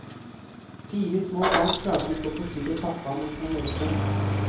Fire små barn klarte ikke å forstyrre pappa mens han leste.